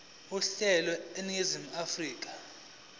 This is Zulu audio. uhlelo eningizimu afrika